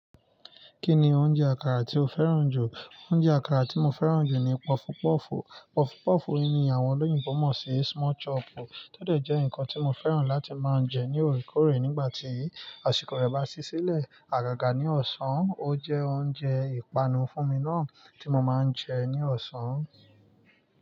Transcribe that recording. Kí ni oúnjẹ àkàrà tí o fẹ́ràn jù? Oúnjẹ àkàrà tí mo fẹ́ràn jù ni puff puff. Puff puff ni àwọn olóyìnbo mọ̀ sí small chop, tódẹ̀ jẹ́ nǹkan tí mo fẹ́ràn láti máa ń jẹ ní òòrèkóòrè nígbà tí àsìkò rẹ bá ṣí sílẹ̀. Àgàgà ní ọ̀sán, ó jẹ́ oúnjẹ ìpanu fún mi náà tí mo máa ń jẹ ní ọ̀sán.